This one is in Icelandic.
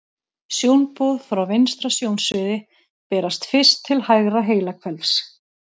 Sjónboð frá vinstra sjónsviði berast fyrst til hægra heilahvels.